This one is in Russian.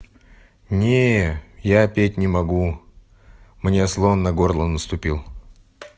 не я петь не могу мне слон на горло наступил